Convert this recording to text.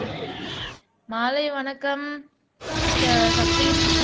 மாலை வணக்கம் ச சஃப்ரின்